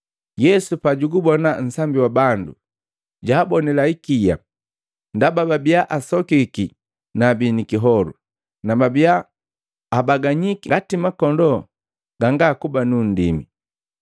Yesu pajugubona nsambi wa bandu, jaabonila ikia ndaba babiya asokiki na abii ni kiholu, na babiya abaganyiki ngati makondoo ganga nu nndimi.